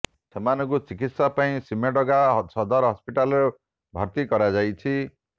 ସେମାନଙ୍କୁ ଚିକିତ୍ସା ପାଇଁ ସିମ୍ଡେଗା ସଦର ହସ୍ପିଟାଲରେ ଭର୍ତ୍ତି କରାଯାଇଛି